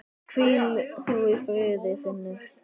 Hvíl þú í friði Finnur.